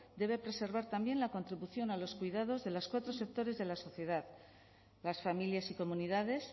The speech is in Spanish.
debe preservar también la contribución a los cuidados de los cuatro sectores de la sociedad las familias y comunidades